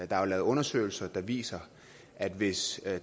der er jo lavet undersøgelser der viser at hvis